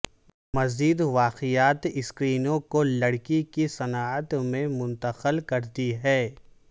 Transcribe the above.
مزید واقعات اسکرینوں کو لکڑی کی صنعت میں منتقل کرتی ہیں